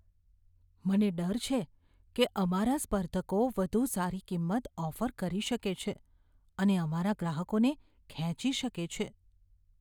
મને ડર છે કે અમારા સ્પર્ધકો વધુ સારી કિંમત ઓફર કરી શકે છે અને અમારા ગ્રાહકોને ખેંચી શકે છે.